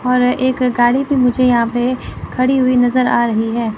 और एक गाड़ी भी मुझे यहां पे खड़ी हुई नजर आ रही है।